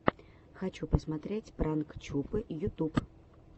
хочу посмотреть пранк чупы ютуб